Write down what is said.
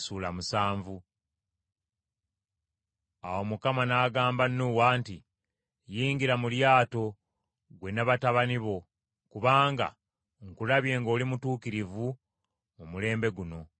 Awo Mukama n’agamba Nuuwa nti, “Yingira mu lyato, ggwe n’abantu bo bonna, kubanga nkulabye ng’oli mutuukirivu mu mulembe guno.